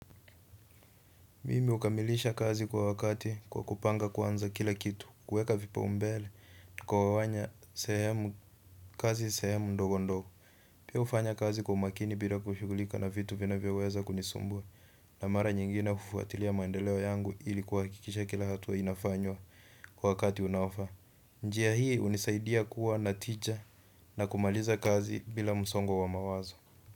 Mimi hukamilisha kazi kwa wakati kwa kupanga kwanza kila kitu, kuweka vipaumbele, kugawanya kazi sehemu ndogo ndogo. Pia hufanya kazi kwa umakini bila kushughulishwa na vitu vinavyoweza kunisumbua. Na mara nyingine hufuatilia maendeleo yangu ili kuhakikisha kila hatua inafanyika kwa wakati unaofaa. Njia hii hunisaidia kuwa na tija na kumaliza kazi bila msongo wa mawazo.